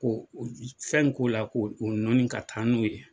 Ko fɛn in k'o la ko' nɔɔni ka taa n'o ye.